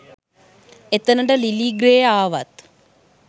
එතනට Lily Grey ආවත්